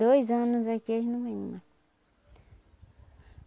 Dois anos é que eles não vêm mais.